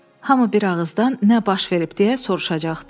Hamı bir ağızdan nə baş verib deyə soruşacaqdı.